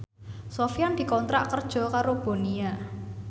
Sofyan dikontrak kerja karo Bonia